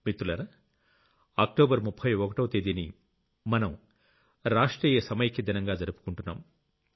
మిత్రులారా అక్టోబర్ 31వ తేదీని మనం రాష్ట్రీయ సమైక్య దినంగా జరుపుకుంటున్నాం